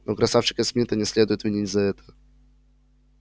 но красавчика смита не следует винить за это